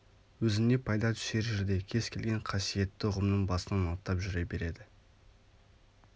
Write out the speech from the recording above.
өзіне пайда түсер жерде кез келген қасиетті ұғымның басынан аттап жүре береді